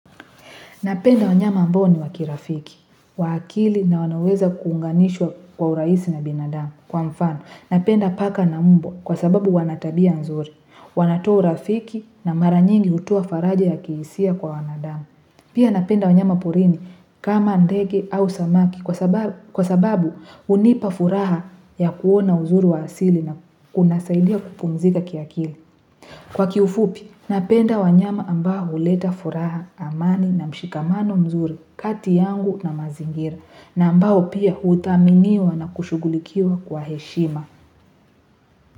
Napenda wanyama ambao ni wa kirafiki, wa akili na wanaweza kuunganishwa kwa urahisi na binadamu kwa mfano. Napenda paka na mbwa kwa sababu wana tabia nzuri, wanatoa urafiki na mara nyingi hutuoa faraja ya kihisia kwa wanadamu. Pia napenda wanyama porini kama ndege au samaki kwa sababu hunipa furaha ya kuona uzuri wa asili na kunasaidia kupumzika kiakili. Kwa kiufupi, napenda wanyama ambao huleta furaha amani na mshikamano mzuri kati yangu na mazingira na ambao pia huthaminiwa na kushughulikiwa kwa heshima.